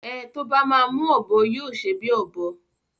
Ẹ tó bá máa mú ọ̀bọ yóò ṣe bí ọ̀bọ